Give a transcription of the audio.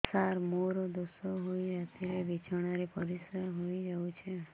ସାର ମୋର ଦୋଷ ହୋଇ ରାତିରେ ବିଛଣାରେ ପରିସ୍ରା ହୋଇ ଯାଉଛି